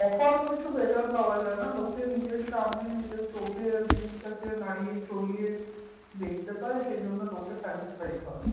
Offer কিছু better পাওয়া যায় না লোকে নিজের সামনে নিজের চোখে জিনিসটাকে নাড়িয়ে চড়িয়ে দেখতে পায় সেইজন্য লোকে satisfied হয়